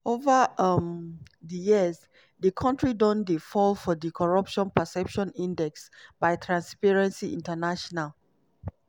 ova um di years di kontri don dey fall for di corruption perception index by transparency international.